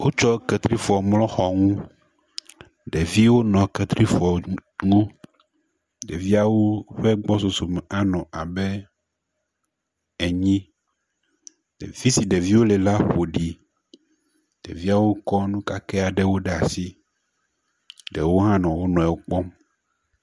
Wotsɔ ketrifɔ mlɔ xɔ ŋu. Ɖeviwo nɔ ketrifɔ ŋu. Ɖeviawo ƒe gbɔsɔsɔ me anɔ abe enyi. Fi si ɖeviwo le la ƒo ɖi. ɖeviawo kɔ nu kake aɖewo ɖe asi ɖewo hã nɔ wonuiwo kplɔm.